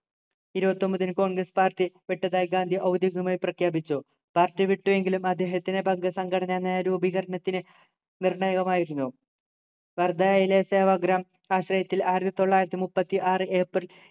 ഇരുപത്തിഒമ്പതിനു congress party വിട്ടതായി ഗാന്ധി ഔദ്യോഗികമായി പ്രഖ്യാപിച്ചു party വിട്ടു എങ്കിലും അദ്ദേഹത്തിനു വർഗ്ഗ സംഘടന എന്ന രൂപീകരണത്തിന് നിർണായകമായിരുന്നു വാർദ്ധയിലുവച്ചു ആശ്രയത്തിൽ ആയിരത്തി തൊള്ളായിരത്തി മുപ്പത്തി ആറു ഏപ്രിൽ